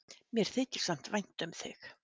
Mér þykir samt vænt um þig.